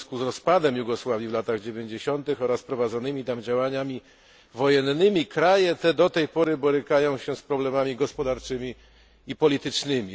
W związku z rozpadem Jugosławii w latach dziewięćdziesiątych oraz prowadzonymi tam działaniami wojennymi, kraje te do tej pory borykają się z problemami gospodarczymi i politycznymi.